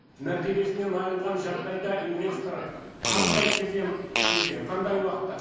мәртебесінен айырылған жағдайда инвестор қандай кезең ішінде қандай уақытта